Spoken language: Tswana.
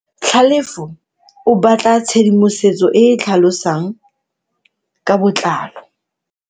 Tlhalefo o batla tshedimosetso e e tlhalosang ka botlalo.